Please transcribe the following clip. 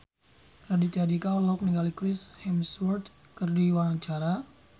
Raditya Dika olohok ningali Chris Hemsworth keur diwawancara